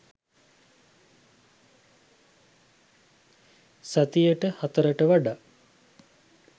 සතියට හතරට වඩා